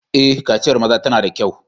Eh, kaciyar maza tana da kyau.